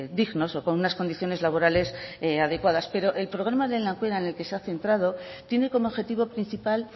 dignos o con unas condiciones laborales adecuadas pero el programa lehen aukera en el que se ha centrado tiene como objetivo principal